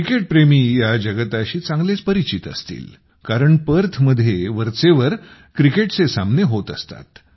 क्रिकेटप्रेमी या जगताशी चांगलेच परिचित असतील कारण पर्थमध्ये वरचेवर क्रिकेटचे सामने होत असतात